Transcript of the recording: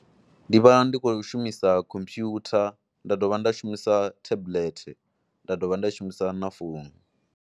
Ndi vha ndi khou shumisa computer, nda dovha nda shumisa tablet, nda dovha nda shumisa na founu.